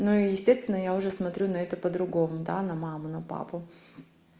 ну естественно я уже смотрю на это по-другому да на маму на папу